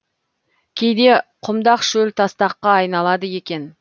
кейде құмдақ шөл тастаққа айналады екен